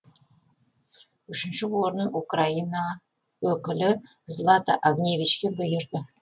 үшінші орын украина өкілі злата огневичке бұйырды